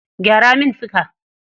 Gyara min fika.